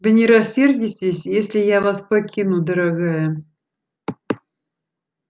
вы не рассердитесь если я вас покину дорогая